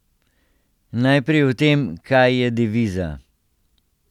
Najprej o tem, kaj je deviza.